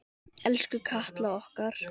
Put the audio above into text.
Elsku Katla okkar.